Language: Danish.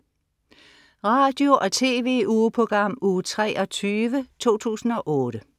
Radio- og TV-ugeprogram Uge 23, 2008